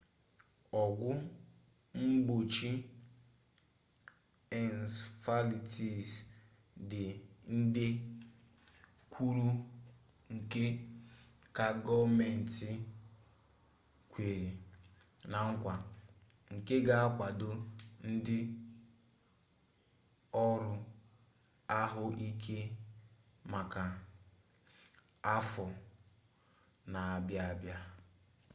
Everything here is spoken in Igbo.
ọgwụ mgbochi ensefalitis dị nde kwuru nde ka gọọmenti kwere na nkwa nke ga-akwado ndị ọrụ ahụike maka afọ na-abịa abịa